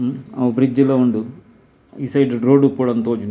ಅವು ಬ್ರಿಡ್ಜ್ ಲ ಉಂಡು ಈ ಸೈಡ್ ರೋಡ್ ಇಪ್ಪೊಡು ಉಂದು ತೋಜುಂಡು ಎಂಕ್.